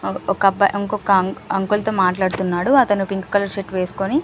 ఒక అబ్బాయి ఇంకొక్క అంకుల్ తో మాట్లాడుతున్నాడు అతను పింక్ కలర్ షర్ట్ వెస్కొని.